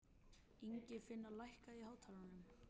Ingifinna, lækkaðu í hátalaranum.